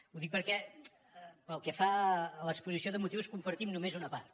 ho dic perquè pel que fa a l’exposició de motius en compartim només una part